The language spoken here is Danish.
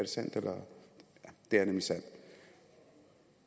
sandt jo det er nemlig sandt